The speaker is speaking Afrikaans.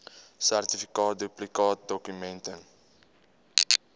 sertifikaat duplikaatdokument ten